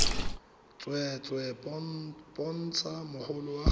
tsweetswee bontsha mogolo wa gago